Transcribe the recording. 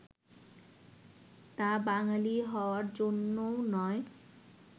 তা বাঙালী হওয়ার জন্যও নয়